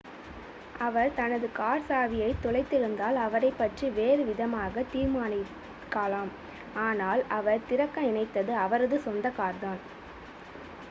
அவர் தனது கார் சாவியைத் தொலைத்திருந்தால் அவரைப் பற்றி வேறு விதமாகத் தீர்மானிக்கலாம் ஆனால் அவர் திறக்க நினைத்தது அவரது சொந்த கார்தான்